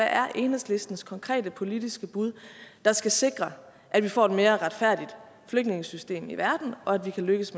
er enhedslistens konkrete politiske bud der skal sikre at vi får et mere retfærdigt flygtningesystem i verden og at vi kan lykkes